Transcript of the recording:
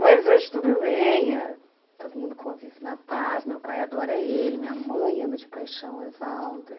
Mas hoje tudo bem, todo mundo convive na paz, meu pai adora ele, minha mãe ama de paixão o Evaldo.